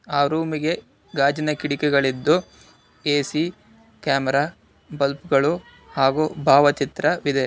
ಆ ರೂಮಿಗೆ ಗಾಜಿನ ಕಿಡಿಕೆಗಳಿದ್ದು ಎ_ಸಿ ಕ್ಯಾಮೆರಾ ಬಲ್ಪ್ ಗಳು ಹಾಗು ಭಾವಚಿತ್ರವಿದೆ.